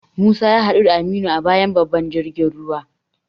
Musa ya hadu da Aminu a bayan babban jirgin ruwa.